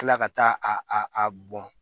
Kila ka taa a a bɔn